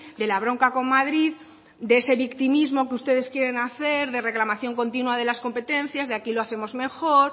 de la bronca con madrid de ese victimismo que ustedes quieren hacer de reclamación continua de las competencias de aquí lo hacemos mejor